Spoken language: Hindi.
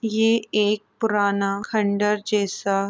यह एक पुराना खंडर जैसा --